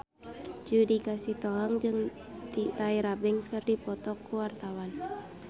Judika Sitohang jeung Tyra Banks keur dipoto ku wartawan